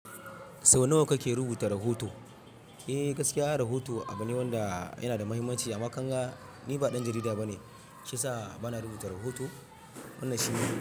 Sau nawa kake rubuta rahoto? Eh, gaskiya ana rahoto a bane wanda yana da muhimmanci, amma kanga ni ba ɗan jarida bane shiyasa bana rubuta rahoto wannan shi ne.